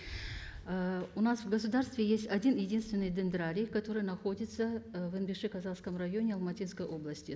ыыы у нас в государстве есть один единственный дендрарий который находится ы в енбекши казахском районе алматинской области